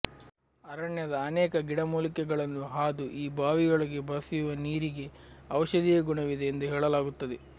ಅರಣ್ಯದ ಅನೇಕ ಗಿಡಮೂಲಿಕೆಗಳನ್ನು ಹಾದು ಈ ಬಾವಿಯೊಳಗೆ ಬಸಿಯುವ ನೀರಿಗೆ ಔಷಧೀಯ ಗುಣವಿದೆ ಎಂದು ಹೇಳಲಾಗುತ್ತದೆ